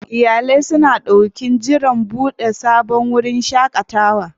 Iyalai suna ɗokin jiran buɗewar sabon wurin shaƙatawa.